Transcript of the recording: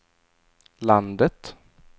landet